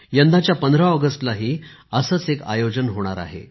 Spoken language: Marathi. यंदाच्या 15 ऑगस्टलाही असेच एक आयोजन होणार आहे